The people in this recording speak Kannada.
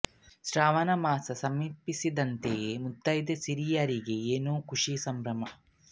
ಶ್ರಾವಣ ಮಾಸ ಸಮೀಪಿಸುತ್ತಿದ್ದಂತೆ ಮುತ್ತೈದೆ ಸ್ತ್ರೀಯರಿಗೆ ಏನೋ ಖುಷಿ ಸಂಭ್ರಮ